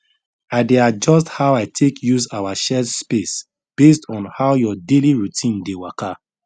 i dey adjust how i take use our shared space based on how your daily routine dey waka